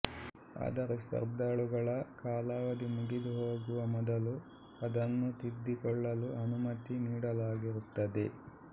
ಆದರೆ ಸ್ಪರ್ಧಾಳುಗಳ ಕಾಲಾವಧಿ ಮುಗಿದುಹೋಗುವ ಮೊದಲು ಅದನ್ನು ತಿದ್ದಿಕೊಳ್ಳಲು ಅನುಮತಿ ನೀಡಲಾಗಿರುತ್ತದೆ